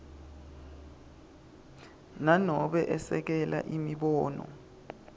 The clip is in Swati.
nanobe esekela imibono